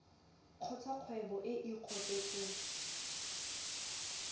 kgotsa kgwebo e e kopetsweng